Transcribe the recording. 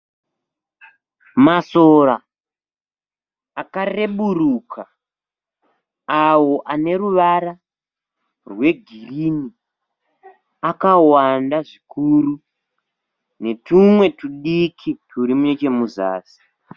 Masora akarebenuka, ayo ane ruvara rwegirini akawanda zvikuru netumwe tudiki turi nechemuzasi.